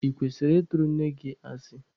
Ị kwesịrị ị tụrụ nne gị asị?